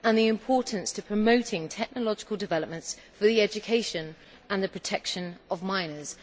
and the importance of promoting technological developments for the education and protection of minors.